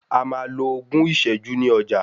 A máa lo ogún ìsẹ́jú ní ọjà.